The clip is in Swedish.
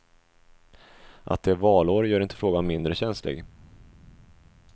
Att det är valår gör inte frågan mindre känslig.